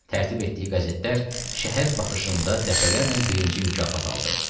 Tərtib etdiyi qəzetlər şəhər baxışında dəfələrlə birinci mükafat aldı.